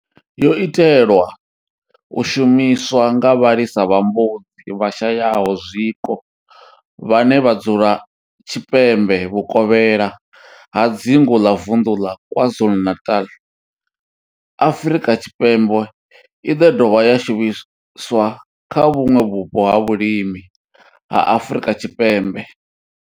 yo itelwa u shumiswa nga vhalisa vha mbudzi vhashayaho zwiko, vhane vha dzula tshipembe vhuvokhela ha dzingu ḽa Vundu la KwaZulu-Natal, Afrika Tshipembe i do dovha ya shumiswa kha vhuṋwe vhupo ha vhulimi ha Afrika Tshipembe.